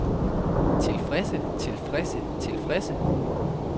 tilfredse tilfredse tilfredse